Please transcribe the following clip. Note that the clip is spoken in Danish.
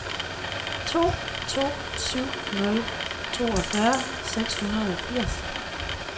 to to syv nul toogfyrre seks hundrede og firs